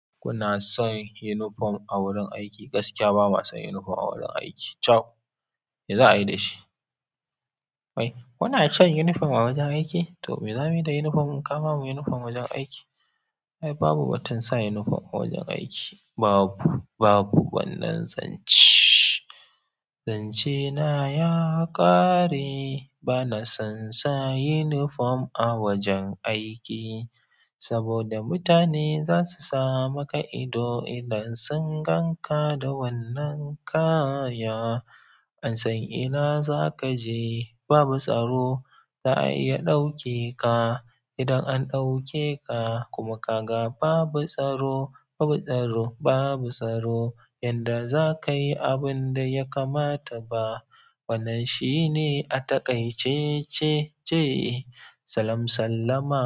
Kuna son unifom a wurin aiki? Gaskiya ba ma son unifom a wurin aiki. Cab! Me za a yi da shi? Kai, kuna shan yunifom a wajen aiki? To, me za mu yi da yunifom? Ka ba mu yunifom wajen aiki. Ai babu batun sa yunifom a wajen aiki. Babu, babu wannan zancee. Zancena ya ƙare. Ba na son sa yunifom a wajen aiki, saboda mutane zasu sa maka ido idan sun ganka da wannan kaya. An san ina za ka je. Babu tsaro. Za'a iya ɗauke ka, idan an ɗauke ka. Kuma kaga babu tsaro, babu tsaro babu tsaro yanda za ka yi abin da ya kamata ba. Wannan shi ne a taƙaice ce ce. Salam sallama.